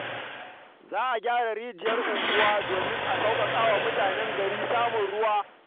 Za a gyara rijiyar unguwa domin a sauƙaƙa wa mutanen gari samun ruwa.